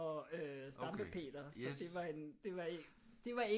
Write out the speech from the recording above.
Og øh Stampe Peter så det var en det var en det var ikke